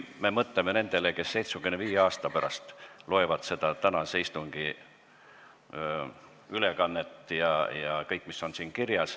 Mõtleme nendele, kes 75 aasta pärast loevad tänase istungi stenogrammi ja kõike, mis on seal kirjas.